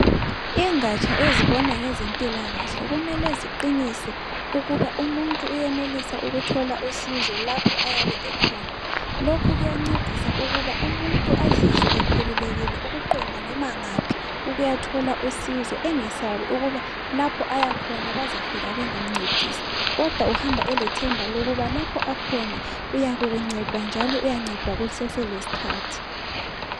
Ingatsha ezebona ngezempilakahle kumele ziqinise ukuba umuntu uyenelisa ukuthola usizo lapho ayabe ekhona. Lokhu kuyancedisa ukuba umuntu azizwe ekhululekile ukuqonda noma ngaphi ukuyathola usizo. Engesabi ukuba lapho ayakhona bazafika bengamncedisi kodwa uhamba elethemba lokuba lapho akhona uyakunceda njalo uyancedwa kuseselesikhathi.